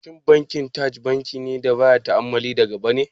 Shin Bankin Taj bankin da baya ta'ammali da riba ne?